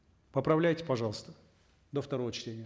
поправляйте пожалуйста до второго чтения